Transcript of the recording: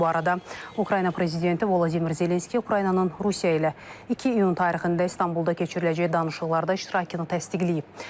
Bu arada Ukrayna prezidenti Vladimir Zelenski Ukraynanın Rusiya ilə 2 iyun tarixində İstanbulda keçiriləcək danışıqlarda iştirakını təsdiqləyib.